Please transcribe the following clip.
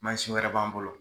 wɛrɛ b'an bolo